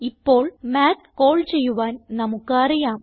ഇപ്പോൾ math call ചെയ്യുവാൻ നമുക്ക് അറിയാം